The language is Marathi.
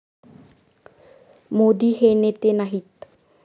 मोदी हे नेते नाहीत.